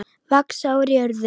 Vaxa úr jörðu.